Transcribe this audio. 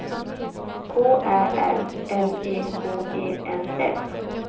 K Ä R L E K E N S